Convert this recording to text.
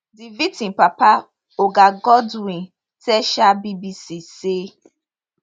di victim papa oga godwin tell um bbc say